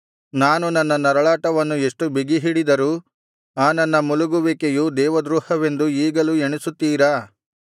ನಾನು ನನ್ನ ನರಳಾಟವನ್ನು ಎಷ್ಟು ಬಿಗಿಹಿಡಿದರೂ ಆ ನನ್ನ ಮುಲುಗುವಿಕೆಯು ದೇವದ್ರೋಹವೆಂದು ಈಗಲೂ ಎಣಿಸುತ್ತೀರಾ